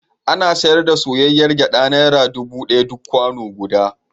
Ana sayar da soyayyr gyaɗa naira dubu ɗaya duk kwano guda.